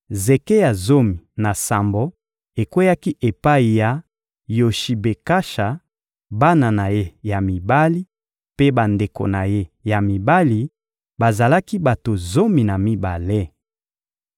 Zeke ya zomi na sambo ekweyaki epai ya Yoshibekasha, bana na ye ya mibali mpe bandeko na ye ya mibali: bazalaki bato zomi na mibale.